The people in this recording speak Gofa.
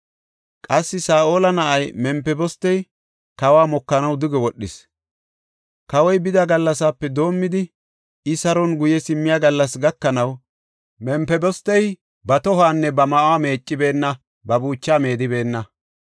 Qassi Saa7ola na7ay Mempibostey kawa mokanaw duge wodhis. Kawoy bida gallasape doomidi I saron guye simmiya gallas gakanaw Mempibostey ba tohuwanne ba ma7uwa meeccibeenna; ba buuchaa meedibeenna.